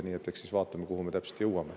Nii et eks me siis vaatame, kuhu me täpselt jõuame.